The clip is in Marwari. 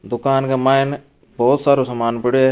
दुकान के मायने बहुत सारो सामान पड़यो है।